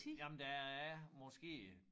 Jamen der er måske øh